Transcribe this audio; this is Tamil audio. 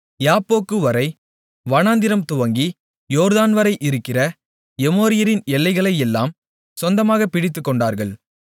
யாப்போக்வரை வனாந்திரம் துவக்கி யோர்தான்வரை இருக்கிற எமோரியரின் எல்லைகளையெல்லாம் சொந்தமாக பிடித்துக்கொண்டார்கள்